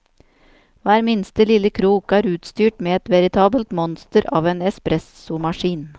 Hver minste lille krok er utstyrt med et veritabelt monster av en espressomaskin.